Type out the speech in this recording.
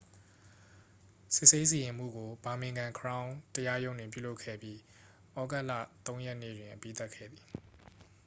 စစ်ဆေးစီရင်မှုကို ဘာမင်ဂမ် ခရောင်း တရားရုံးတွင် ပြုလုပ်ခဲ့ပြီး သြဂုတ်လ 3 ရက်နေ့တွင် အပြီးသတ်ခဲ့သည်